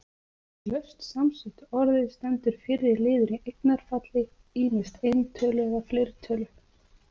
Í laust samsettu orði stendur fyrri liður í eignarfalli, ýmist eintölu eða fleirtölu.